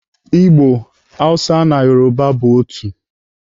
Igbo, Hausa na Yoruba bụ otu.